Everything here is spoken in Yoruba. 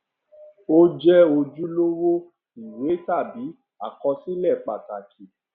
ó jẹ ojúlówó ìwé tàbí àkọsílẹ pàtàkì